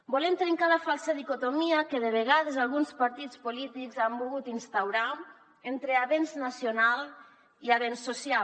volem trencar la falsa dicotomia que de vegades alguns partits polítics han volgut instaurar entre avenç nacional i avenç social